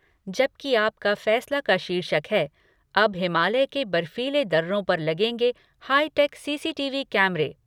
जबकि आपका फ़ैसला का शीर्षक है अब हिमालय के बर्फीले दर्रों पर लगेंगे हाईटैक सीसीटीवी कैमरे।